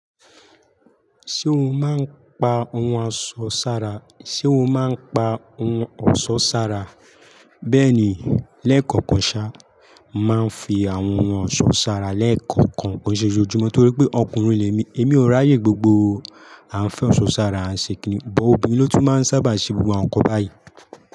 Ṣé o máa ń pa ohun ọ̀ṣọ́ sára? Bẹ́ẹ̀ni, léèkọ̀ọ̀kan ṣá, máa ń fi àwọn ohun ọ̀ṣọ́ sára léèkọ̀ọ̀kan bó ṣe ojú mi torí pé ọkùnrin lé mi. Èmi ò ráyè gbogbo o. A ń fẹ́ ọ̀ṣọ́ sára, a ń ṣe kìíní, bọ̀ obìnrin ló tún máa ń sábà ṣe búburú àwọn nǹkan báyìí.